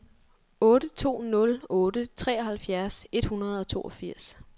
otte to nul otte treoghalvfjerds et hundrede og toogfirs